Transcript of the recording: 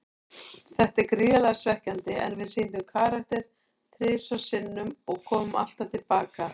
Þetta er gríðarlega svekkjandi, en við sýndum karakter þrisvar sinnum og komum alltaf til baka.